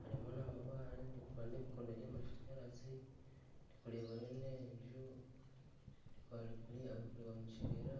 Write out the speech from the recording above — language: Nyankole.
harimu n'amabare nindeeba n'ebikondo by'amashanyarazi ndikureebayo n'enju ndikureeba kuriya abarikureeba omu kibira.